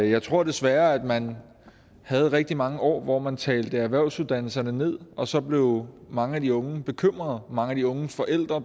jeg tror desværre at man havde rigtig mange år hvor man talte erhvervsuddannelserne ned og så blev mange af de unge og mange af de unges forældre